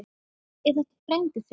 Er þetta frændi þinn?